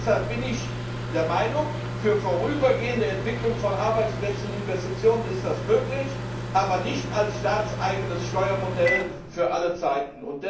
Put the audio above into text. Deshalb bin ich der Meinung Für vorübergehende Entwicklung von Arbeitsplätzen und Investitionen ist das möglich, aber nicht als staatseigenes Steuermodell für alle Zeiten.